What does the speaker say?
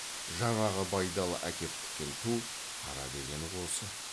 жаңағы байдалы әкеп тіккен ту қара дегені осы